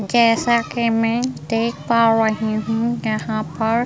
जैसा कि मैं देख पा रही हूँ यहाँ पर --